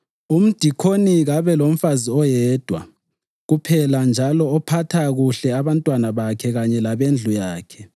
Umdikoni kabe lomfazi oyedwa kuphela njalo ophatha kuhle abantwana bakhe kanye labendlu yakhe.